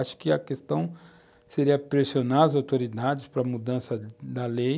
Acho que a questão seria pressionar as autoridades para a mudança da lei,